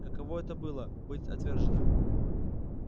каково это быть отверженным